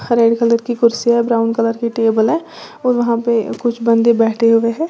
Red colour की कुर्सियां brown colour की टेबल है और वहां पे कुछ बंदे बैठे हुए हैं।